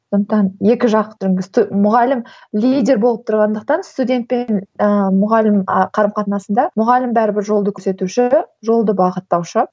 сондықтан екі жақ мұғалім лидер болып тұрғандықтан студент пен ыыы мұғалім ы қарым қатынасында мұғалім бәрібір жолды көрсетуші жолды бағыттаушы